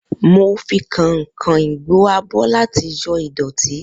Mo fi kàìn-kàìn gbo abọ́ láti yọ ìdọ̀tí